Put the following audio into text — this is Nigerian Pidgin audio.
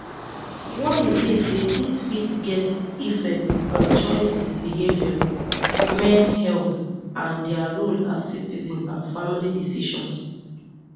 warning dey say dis fit get effect on choices behaviours men health and dia role as citizens and family decisions